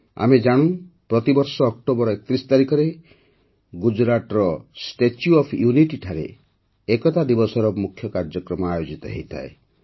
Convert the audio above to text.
ଆମେ ଜାଣୁ ଯେ ପ୍ରତି ବର୍ଷ ଅକ୍ଟୋବର ୩୧ ତାରିଖରେ ଗୁଜରାଟରେ ଷ୍ଟାଚ୍ୟୁ ଅଫ୍ ୟୁନିଟି ଠାରେ ଏକତା ଦିବସର ମୁଖ୍ୟ କାର୍ଯ୍ୟକ୍ରମ ଆୟୋଜିତ ହୋଇଥାଏ